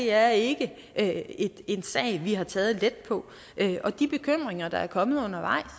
er ikke ikke en sag vi har taget let på og de bekymringer der er kommet undervejs